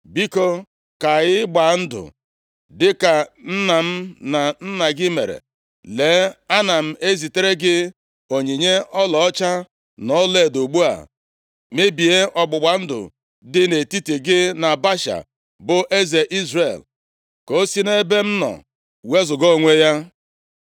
“Biko, ka anyị gbaa ndụ dịka nna m na nna gị mere. Lee, ana m ezitere gị onyinye ọlaọcha na ọlaedo. Ugbu a, mebie ọgbụgba ndụ dị nʼetiti gị na Baasha, bụ eze Izrel, ka o si nʼebe m nọ wezuga onwe ya.”